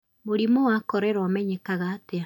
Mũrimũ wa korera ũmenyekaga atia?